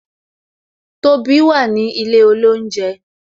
Tobi wà ní ilé olounje